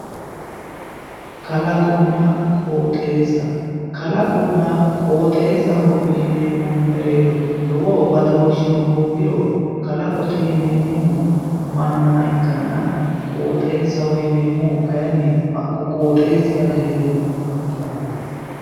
Kalaqonna qoxeessa ,kalaqonna qoxeessaho yineemmo mereero lowo badooshino hoogiro kalaqote yineemmohu manna ikkanna qoxeessaho yineemmohu kayinni hakku qoxeesira heeranoreti